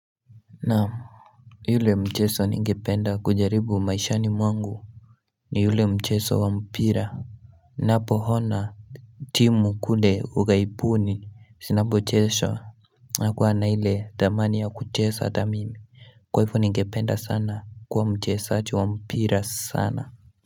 Naam yule mchezo ningependa kujaribu maishani mwangu ni yule mchezo wa mpira Ninapoona timu kule ugaibuni zinapocheza nakuwa na ile tamaa ya kucheza thamini kwa hivo ningependa sana kuwa mchezaji wa mpira sana.